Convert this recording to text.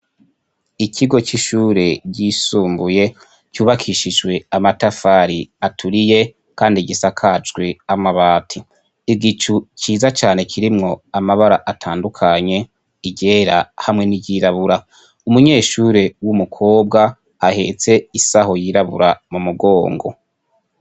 Ikigo c'ishure ryisumbuye kyubakishiswe amatafari aturiye, kandi gisakajwe amabati igicu ciza cane kirimwo amabara atandukanye igera hamwe n'iyirabura umunyeshure w'umukobwa ahetse isaho yirabura mu mugongwo.